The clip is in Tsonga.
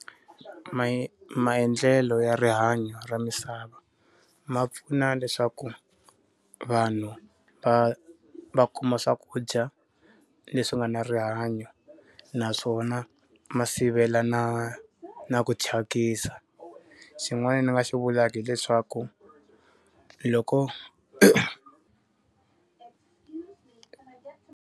Me maendlelo ya rihanyo ra misava ma pfuna leswaku vanhu va va kuma swakudya leswi nga na rihanyo, naswona ma sivela na na ku thyakisa. Xin'wana ni nga xi vulaka hileswaku loko .